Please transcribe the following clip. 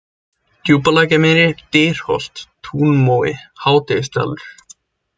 Djúpalækjarmýri, Dyrholt, Túnmói, Hádegisdalur